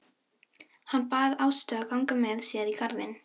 Hann bað Ástu að ganga með sér í garðinn.